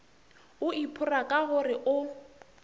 o iphora ka gore o